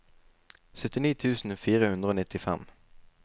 syttini tusen fire hundre og nittifem